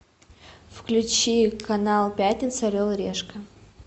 включи канал пятница орел и решка